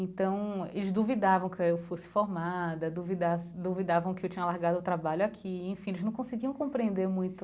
Então, eles duvidavam que eu fosse formada, duvidavam que eu tinha largado o trabalho aqui, enfim, eles não conseguiam compreender muito...